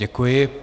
Děkuji.